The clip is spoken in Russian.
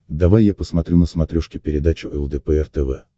давай я посмотрю на смотрешке передачу лдпр тв